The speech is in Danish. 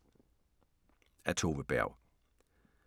Af Tove Berg